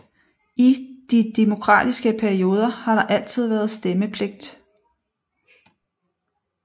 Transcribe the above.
I de demokratiske perioder har der altid været stemmepligt